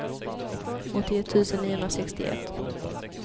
åttioett tusen niohundrasextioett